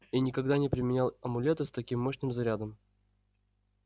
и никогда не применял амулета с таким мощным зарядом